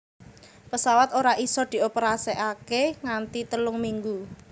Pesawat ora isa dioperasikake nganti telung minggu